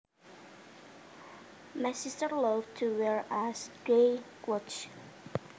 My sister loved to wear ash gray cloths